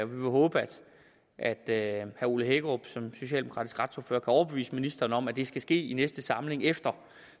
vil håbe at herre ole hækkerup som socialdemokratisk retsordfører kan overbevise ministeren om at det skal ske i næste samling efter